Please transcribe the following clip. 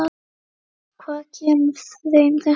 Hvað kemur þeim þetta við?